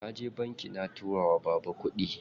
Naje banki na tura wa baba kuɗi.